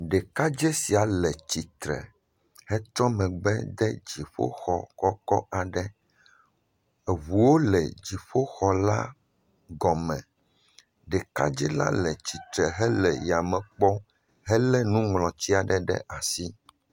Ɖekadzɛ sia le tsitre hetrɔ megbe de dziƒoxɔ kɔkɔ aɖe. Eŋuwo le dziƒoxɔla agɔme. Ɖekadzɛla le tsitre hele yame kpɔm helé nuŋlɔti aɖe ɖe asi.